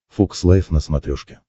фокс лайв на смотрешке